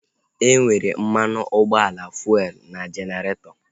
E nwere mmanụ ụgbọala fuelu n'jeneretọ